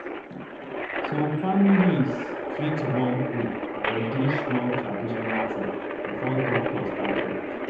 some families fit wan pray or do small traditional thing before doctor start work.